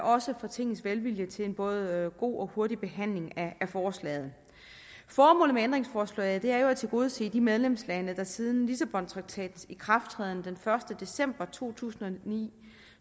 også for tingets velvilje til en både god og hurtig behandling af forslaget formålet med forslaget er jo at tilgodese de medlemslande der siden lissabontraktatens ikrafttræden den første december to tusind og ni